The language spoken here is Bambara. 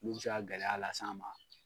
Mun bɛ se ka gɛlɛya las'an ma.